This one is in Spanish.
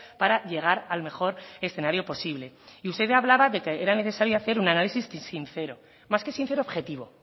para llegar al mejor escenario posible y usted hablaba de que era necesario hacer un análisis sincero más que sincero objetivo